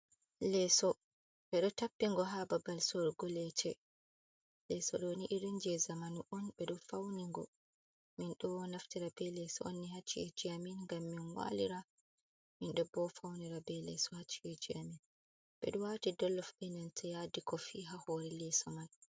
Leso bedo tappingo ha babal sorogo lece. Ɗooni irin je zamanu on be do fi'igo. min do naftira be leso onni hacci ejiamin ngam min walira, min do bo faunira be leso hacci ejiamin. Bedo wati dollof e nanta yadi kofi ha hore leso mai.